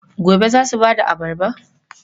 Gobe ​​za su ba da abarba?